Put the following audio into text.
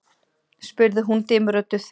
spurði hún dimmrödduð.